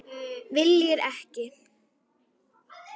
Viljir ekki.